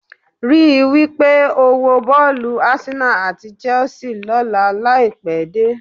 Rí i wí pé o wo bọ́ọ̀lù Arsenal àti Chelsea lọ́la láì pẹ́ dé